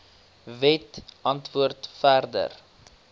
wet antwoord verder